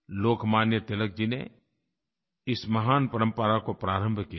लोकमान्य तिलक जी ने इस महान परम्परा को प्रारंभ किया था